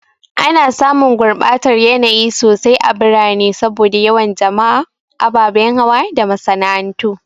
Ana samun gurbatar yanayi sosai a birane saboda yawan jama'a, ababen hawa da masana'antu.